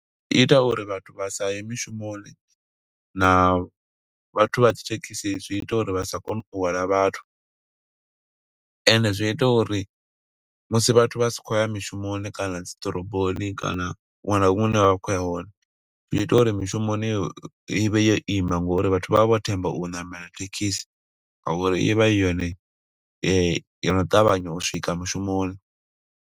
I ita uri vhathu vha sa ye mushumoni na vhathu vha dzithekhisi zwi ita uri vha sa kone u hwala vhathu. Ende zwi ita uri musi vhathu vha sa khou ya mishumoni kana dziḓoroboni kana huṅwe na huṅwe hune vha khou ya hone. Zwi ita uri mishumoni i vhe yo ima, nga uri vhathu vha vha vho themba u ṋamela thekhisi, nga uri ivha i yone yo no ṱavhanya u swika mushumoni.